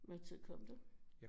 Hvad tid kom du